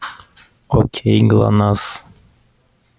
окей глонассс